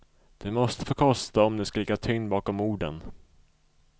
Det måste få kosta om det ska ligga tyngd bakom orden.